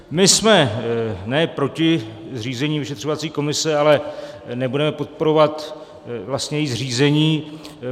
My jsme ne proti zřízení vyšetřovací komise, ale nebudeme podporovat její zřízení.